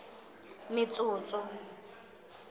metsotso